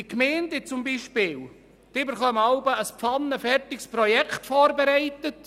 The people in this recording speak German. Die Gemeinden erhalten ein pfannenfertiges Projekt vorgesetzt.